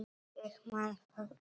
Ég man það allt.